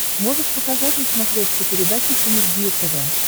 можешь показать на смотрешке передачу синергия тв